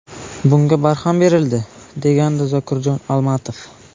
Bunga barham berildi”, – degandi Zokirjon Almatov.